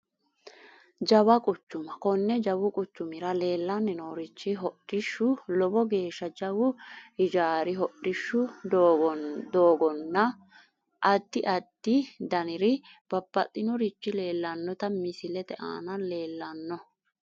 Jawa quchuma kone jawu quchumira leelani noorichi hodhishshu lowo geesha jawu ijaari hodhishshu doogonana adi adi daniri babaxinorichi leelanota misilete aana leelano.